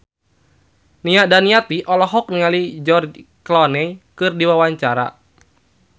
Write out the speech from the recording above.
Nia Daniati olohok ningali George Clooney keur diwawancara